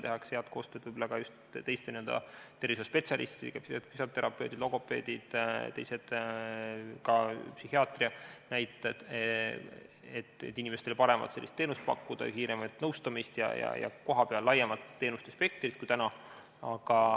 Tehakse head koostööd ka teiste tervishoiuspetsialistidega, nagu füsioterapeudid, logopeedid ja ka psühhiaatriad, et pakkuda inimestele paremat teenust, kiiremat nõustamist ja kohapeal laiemat teenuste spektrit.